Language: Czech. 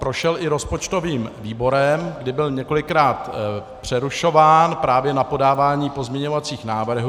Prošel i rozpočtovým výborem, kdy byl několikrát přerušován právě na podávání pozměňovacích návrhů.